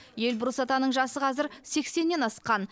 эльбрус атаның жасы қазір сексеннен асқан